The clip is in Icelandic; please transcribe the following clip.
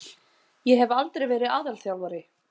Ég hef aldrei verið aðalþjálfari.